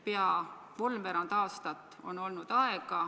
Peaaegu kolmveerand aastat on olnud aega ...